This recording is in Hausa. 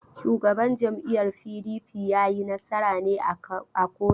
Shugaban jam'iyyar PDP ya yi nasara ne a koto?